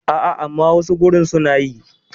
A a, amma wasu gurin su na yi.